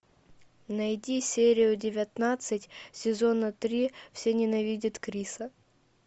найди серию девятнадцать сезона три все ненавидят криса